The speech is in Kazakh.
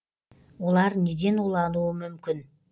олар неден улануы мүмкін